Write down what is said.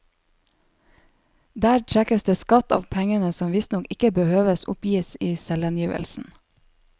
Der trekkes det skatt av pengene som visstnok ikke behøves oppgis i selvangivelsen.